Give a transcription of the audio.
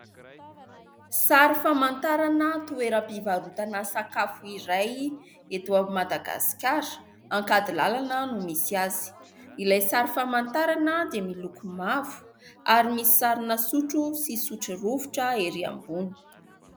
Sary famantarana toeram-pivarotana sakafo iray eto avy Madagasikara Ankadilalana no misy azy. Ilay sary famantarana dia miloko mavo ary misy sarina sotro sy sotrorovitra ery ambony.